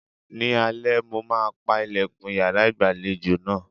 Ni alẹ́, mo máa ń pa ìlẹ̀kùn yàrá ìgbàlejò náà.